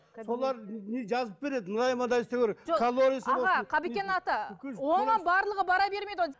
солар не жазып береді мынадай мынадай істеу керек оған барлығы бара бермейді ғой